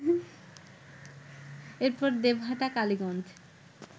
এরপর দেবহাটা, কালীগঞ্জ